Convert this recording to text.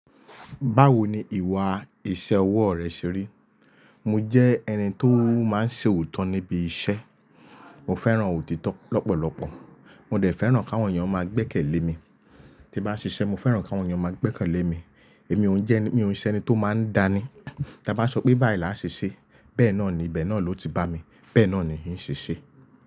Báwo ni ìwà ìṣe ọwọ́ rẹ ṣe rí? Mo jẹ́ ẹni tó máa ń ṣe òótọ́ níbi iṣẹ́. Mo fẹ́ràn òtítọ́ lọ́pọ̀lọpọ̀, mo dẹ̀ fẹ́ràn kí àwọn èèyàn máa gbẹ́kẹ̀lé mi. Tí bá ń ṣiṣẹ́, mo fẹ́ràn kí àwọn èèyàn máa gbẹ́kẹ̀lé mi. Èmi ò ń jẹ́, ò ń ṣe ẹni tó máa ń dá ní. Tí a bá sọ pé báyìí là á ṣe ṣe, bẹ́ẹ̀ náà ni, ibẹ́ náà ló ti bá mi, bẹ́ẹ̀ náà ni ń ṣe ṣe.